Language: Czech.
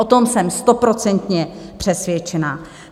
O tom jsem stoprocentně přesvědčená.